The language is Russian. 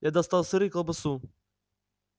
я достал сыр и колбасу